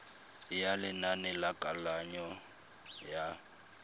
ya lenane la kananyo ya